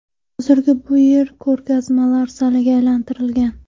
Hozir bu yer ko‘rgazmalar zaliga aylantirilgan.